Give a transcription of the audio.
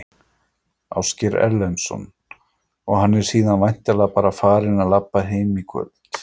Ásgeir Erlendsson: Og hann er síðan væntanlega bara farinn að labba heim í kvöld?